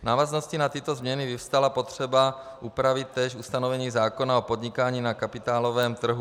V návaznosti na tyto změny vyvstala potřeba upravit též ustanovení zákona o podnikání na kapitálovém trhu.